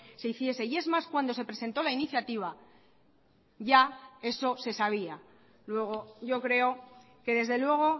se hiciese y es más cuando se presentó la iniciativa ya eso se sabía luego yo creo que desde luego